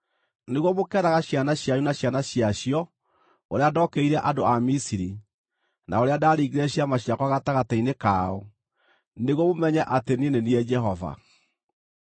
nĩguo mũkeeraga ciana cianyu na ciana ciacio ũrĩa ndokĩrĩire andũ a Misiri, na ũrĩa ndaringire ciama ciakwa gatagatĩ-inĩ kao, nĩguo mũmenye atĩ niĩ nĩ niĩ Jehova.”